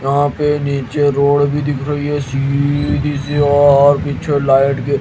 यहां पे नीचे रोड भी दिख रही है और पीछे लाइट के--